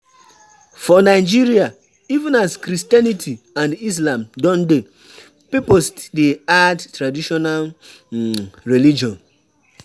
For Nigeria even as Christianity and Islam don dey, pipo still dey add traditional um religion